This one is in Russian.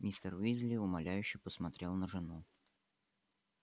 мистер уизли умоляюще посмотрел на жену